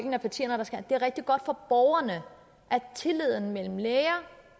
er rigtig godt for borgerne at tilliden mellem læger